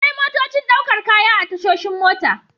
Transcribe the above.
Akwai motocin ɗaukar kaya a tashoshin mota.